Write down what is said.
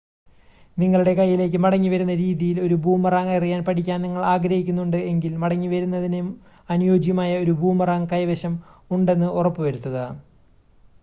നിങ്ങളുടെ കൈയ്യിലേക്ക് മടങ്ങിവരുന്ന രീതിയിൽ ഒരു ബൂമറാങ് എറിയാൻ പഠിക്കാൻ നിങ്ങൾ ആഗ്രഹിക്കുന്നുണ്ട് എങ്കിൽ മടങ്ങി വരുന്നതിന് അനുയോജ്യമായ ഒരു ബൂമറാങ് കൈവശം ഉണ്ടെന്ന് ഉറപ്പ് വരുത്തുക